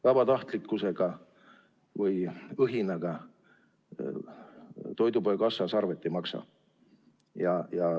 Vabatahtlikkusega või õhinaga toidupoe kassas arvet ei maksa.